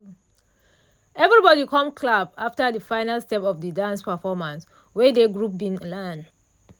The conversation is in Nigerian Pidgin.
everybody com clap after final step of de dance performance wey dey group bin learn.